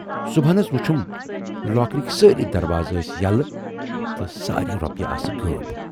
صُبحن حض وُچھُم لاکرٕکۍ سٲرِی دروازٕ ٲسۍ یَلہٕ تہٕ ساریے رۅپیہِ آسہٕ غٲب۔